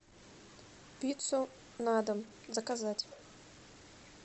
пиццу на дом заказать